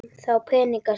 Þá peninga sem